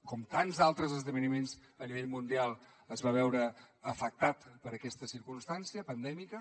com tants d’altres esdeveniments a nivell mundial es va veure afectada per aquesta circumstància pandèmica